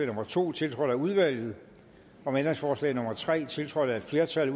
nummer to tiltrådt af udvalget om ændringsforslag nummer tre tiltrådt af et flertal